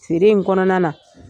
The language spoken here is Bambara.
Feere in kɔnɔna na